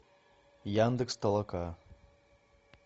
яндекс толока